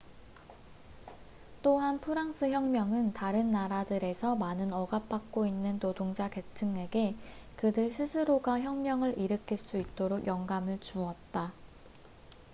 또한 프랑스 혁명은 다른 나라들에서 많은 억압 받고 있는 노동자 계층에게 그들 스스로가 혁명을 일으킬 수 있도록 영감을 주었다